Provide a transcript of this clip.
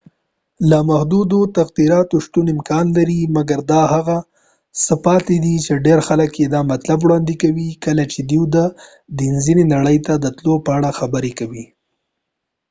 د لامحدودو تغیراتو شتون امکان لري مګر دا هغه څه پاتې دي چې ډیر خلک یې دا مطلب وړاندې کوي کله چې دوی د ډیزني نړۍ ته د تللو په اړه خبرې کوي